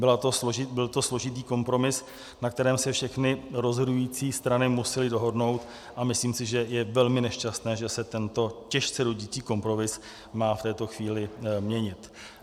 Byl to složitý kompromis, na kterém se všechny rozhodující strany musely dohodnout, a myslím si, že je velmi nešťastné, že se tento těžce rodící kompromis má v této chvíli měnit.